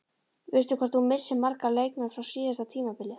Veistu hvort þú missir marga leikmenn frá síðasta tímabili?